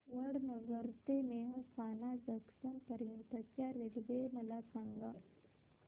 वडनगर ते मेहसाणा जंक्शन पर्यंत च्या रेल्वे मला सांगा